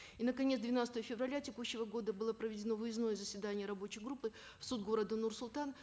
и наконец двенадцатого февраля текущего года было проведено выездное заседание рабочей группы в суд города нур султан